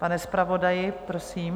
Pane zpravodaji, prosím.